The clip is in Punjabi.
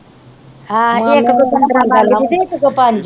ਹਾਂ ਇੱਕ ਕੋ ਪੰਦਰਾਂ ਮੰਗਦੀ ਤੇ ਇੱਕ ਤੋਂ ਪੰਜ।